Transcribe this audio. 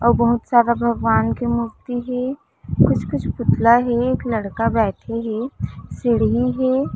अउ बहुत सारा भगवान के मूर्ति हे कुछ-कुछ पुतला हे एक लड़का बैठे हे सीढ़ी हे।